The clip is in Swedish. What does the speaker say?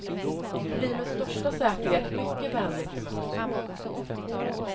Du blir med största säkerhet mycket vänligt bemött.